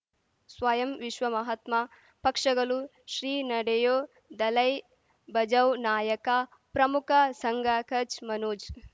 ಸ್ವಯಂ ವಿಶ್ವ ಮಹಾತ್ಮ ಪಕ್ಷಗಲು ಶ್ರೀ ನಡೆಯೂ ದಲೈ ಬಜೌ ನಾಯಕ ಪ್ರಮುಖ ಸಂಘ ಕಚ್ ಮನೋಜ್